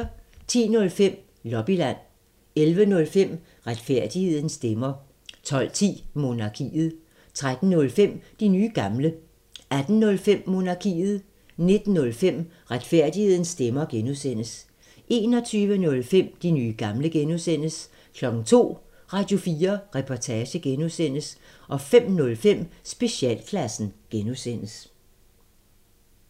10:05: Lobbyland 11:05: Retfærdighedens stemmer 12:10: Monarkiet 13:05: De nye gamle 18:05: Monarkiet 19:05: Retfærdighedens stemmer (G) 21:05: De nye gamle (G) 02:00: Radio4 Reportage (G) 05:05: Specialklassen (G)